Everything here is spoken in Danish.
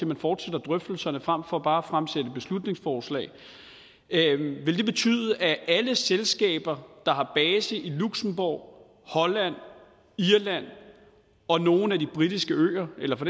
man fortsætter drøftelserne frem for bare at fremsætte beslutningsforslag ville det betyde at alle selskaber der har base i luxembourg holland irland og nogle af de britiske øer eller for